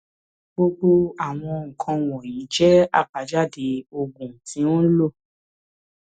gbogbo àwọn nǹkan wọnyí jẹ àbájáde oògùn tí o ń lò